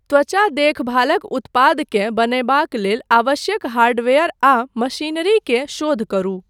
त्वचा देखभालक उत्पादकेँ बनयबाक लेल आवश्यक हार्डवेयर आ मशीनरी के शोध करू।